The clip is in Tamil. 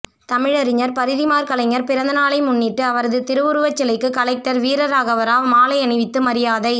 தமிழறிஞர் பரிதிமாற்கலைஞர் பிறந்தநாளை முன்னிட்டு அவரது திருவுருவச்சிலைக்கு கலெக்டர் வீரராகவராவ் மாலையணிவித்து மரியாதை